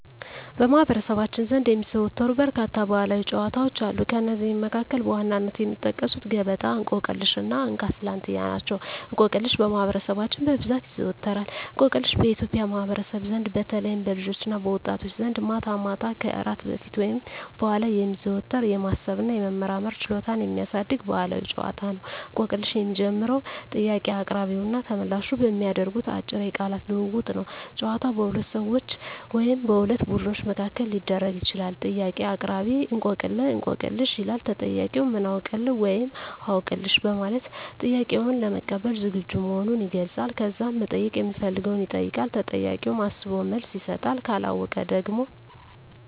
በማኅበረሰባችን ዘንድ የሚዘወተሩ በርካታ ባሕላዊ ጨዋታዎች አሉ። ከእነዚህም መካከል በዋነኝነት የሚጠቀሱት ገበጣ፣ እንቆቅልሽ እና እንካ ስላንትያ ናቸው። እንቆቅልሽ በማህበረሰባችን በብዛት ይዘዎተራል። እንቆቅልሽ በኢትዮጵያ ማኅበረሰብ ዘንድ በተለይም በልጆችና በወጣቶች ዘንድ ማታ ማታ ከእራት በፊት ወይም በኋላ የሚዘወተር፣ የማሰብ እና የመመራመር ችሎታን የሚያሳድግ ባሕላዊ ጨዋታ ነው። እንቆቅልሽ የሚጀምረው ጥያቄ አቅራቢውና ተመልላሹ በሚያደርጉት አጭር የቃላት ልውውጥ ነው። ጨዋታው በሁለት ሰዎች ወይም በሁለት ቡድኖች መካከል ሊደረግ ይችላል። ጥያቄ አቅራቢ፦ "እንቆቅልህ/ሽ?" ይላል። ተጠያቂው፦ "ምን አውቅልህ?" (ወይም "አውቅልሽ") በማለት ጥያቄውን ለመቀበል ዝግጁ መሆኑን ይገልጻል። ከዛም መጠየቅ ሚፈልገውን ይጠይቃል። ተጠያቂውም አስቦ መልስ ይሰጣል። ካለወቀው ደግሞ ሀገ